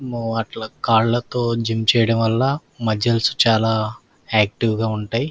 అట్లా కాళ్లతో జిమ్ చేయడం వల్ల మస్కల్స్ చాలా యాక్టివ్ గా ఉంటాయి.